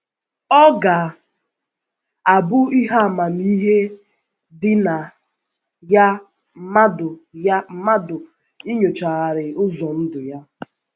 Ọ ga - abụ ihe amamihe dị na ya mmadụ ya mmadụ inyochagharị ụzọ ndụ ya.